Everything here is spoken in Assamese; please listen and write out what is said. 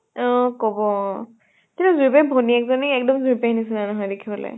অ কব অ। কিন্তু যুৰি পেহীৰ ভনীয়েক জনি এক্দম যুৰি পেহীৰ নিছিনা নহয় দেখিবলৈ।